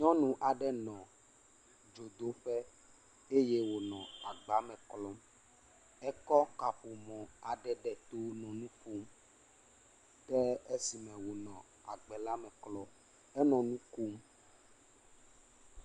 Nyɔnu aɖe nɔ dzodoƒe eye wonɔ agba klɔm, ekɔ kaƒomɔ aɖe ɖe tɔ nɔ nu ƒom. Ke esi me wonɔ agba la me klɔm, enɔ nu kom.